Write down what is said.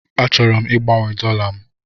Achọrọ m igbanwe dollar m.